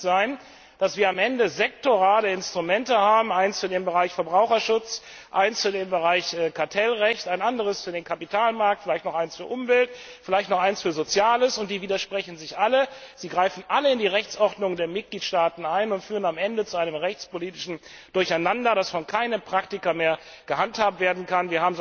Es kann nicht sein, dass wir am Ende sektorale Instrumente haben eines für den Bereich Verbraucherschutz, eines für den Bereich Kartellrecht, ein anderes für den Kapitalmarkt, vielleicht noch eines für Umwelt, vielleicht noch eines für Soziales, und alle widersprechen einander, alle greifen in die Rechtsordnungen der Mitgliedstaaten ein und führen am Ende zu einem rechtspolitischen Durcheinander, das von keinem Praktiker mehr gehandhabt werden kann.